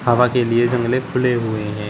हवा के लिए जंगले खुले हुए हैं।